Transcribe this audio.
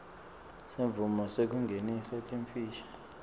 semvumo yekungenisa timfishi